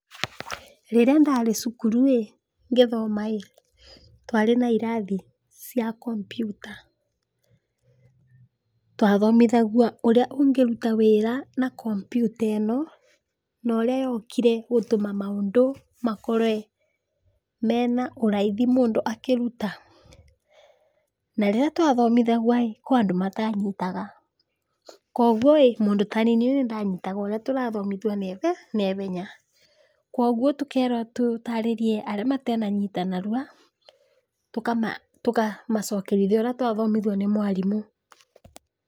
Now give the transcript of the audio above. Rĩrĩa ndarĩ cukuru ĩ, ngĩthoma ĩ, twarĩ na irathi cia kompiuta, twathomithagua ũrĩa ũngĩruta wĩra na kompyuta ĩno, na ũrĩa yokire gũtũma maũndũ makorwe mena ũraithi mũndũ akĩruta, na rĩrĩa twathomithagua ĩ, kwĩ andũ matanyitaga, koguo ĩ mũndũ tani nĩn danyitaga ũrĩa tũrathomithua naihenya, koguo tũkerwo tũtarĩrie arĩa matenanyita narua, tũkamacokeria ũrĩa twathomithua nĩ mwarimũ.